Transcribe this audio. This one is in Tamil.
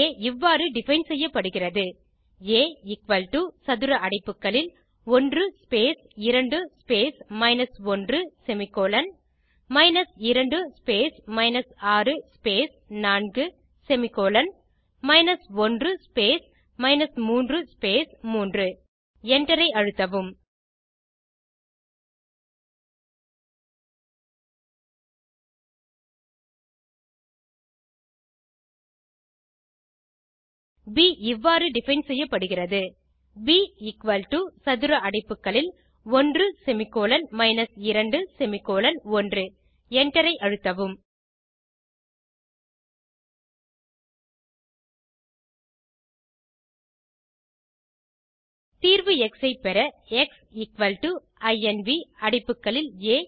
ஆ இவ்வாறு டிஃபைன் செய்யப்படுகிறது ஆ சதுர அடைப்புகளில் 1 space 2 space 1 semicolon 2 space 6 space 4 semicolon 1 space 3 space 3 Enter ஐ அழுத்தவும் ப் இவ்வாறு டிஃபைன் செய்யப்படுகிறது ப் எக்குவல் டோ சதுர அடைப்புகளில் 1 செமிகோல்ன் 2 செமிகோலன் 1 Enter ஐ அழுத்தவும் தீர்வு எக்ஸ் ஐ பெற எக்ஸ் இன்வ் அடைப்புகளில் ஆ